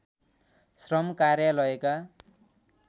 श्रम कार्यालयका